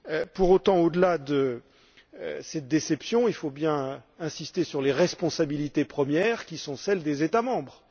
Pour autant, au delà de cette déception, il faut bien insister sur les responsabilités premières qui sont celles des États membres.